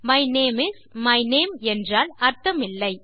my name is my name என்றால் அர்த்தமில்லை